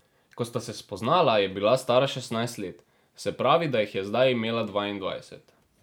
Ko sta se spoznala, je bila stara šestnajst let, se pravi, da jih je zdaj imela dvaindvajset.